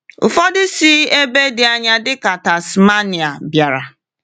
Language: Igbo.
Ụfọdụ si ebe dị anya dịka Tasmania bịara.